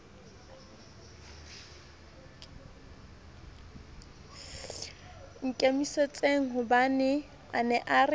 nkimisitsenghobane a ne a re